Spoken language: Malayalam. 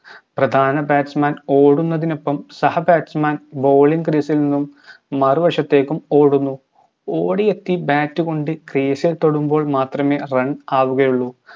പ്രധാന batsman ഓടുന്നതിനൊപ്പം സഹ batsmanbowlingcrease ൽ നിന്നും മറുവശത്തേക്കും ഓടുന്നു ഓടി എത്തി bat കൊണ്ട് crease ഇൽ തൊടുമ്പോൾ മാത്രമേ run ആകുകയുള്ളു